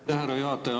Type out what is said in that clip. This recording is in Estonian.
Aitäh, härra juhataja!